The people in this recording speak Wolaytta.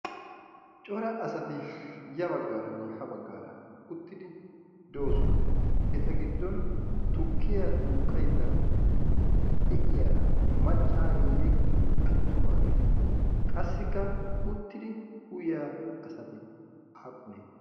cora asati ya baggaaran ha baggaara uttidi do7osona eta giddon tukkiyaa duuqqaidda de7iyaara maccaariiyye attumaagee ? qassikka uttidi uyyaa asati aappunee ?